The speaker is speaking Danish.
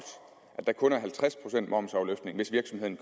at der kun er halvtreds procent momsafløftning hvis virksomheden